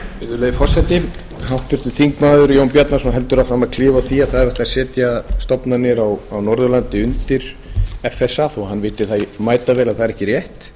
virðulegi forseti háttvirtur þingmaður jón bjarnason heldur áfram að klifa á því að það eigi að setja stofnanir á norðurlandi undir fsa þó að hann viti mætavel að það er ekki rétt